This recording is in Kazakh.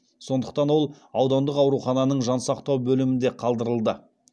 сондықтан ол аудандық аурухананың жансақтау бөлімінде қалдырылды